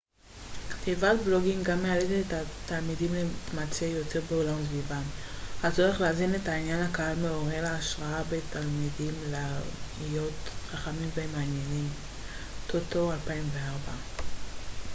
"כתיבת בלוגים גם "מאלצת את התלמידים להתמצא יותר בעולם סביבם"". הצורך להזין את עניין הקהל מעורר השראה בתלמידים להיות חכמים ומעניינים טוטו 2004.